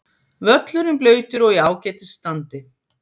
Völlurinn blautur og í ágætis standi.